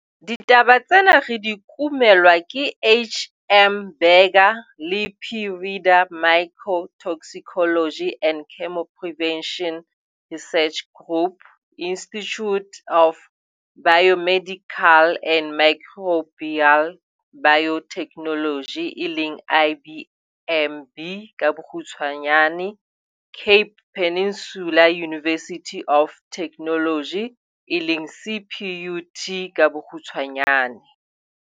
Ditaba tsena re di kumelwa ke HM Burger le P Rheeder, Mycotoxicology and Chemoprevention Research Group, Institute of Biomedical and Microbial Biotechnology eleng IBMB ka bokgutshwanyane, Cape Peninsula University of Technology CPUT eleng ka bokgutshwanyane.